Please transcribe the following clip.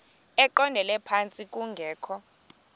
eqondele phantsi kungekho